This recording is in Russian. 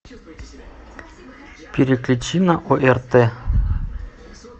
переключи на орт